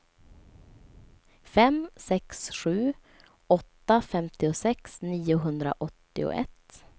fem sex sju åtta femtiosex niohundraåttioett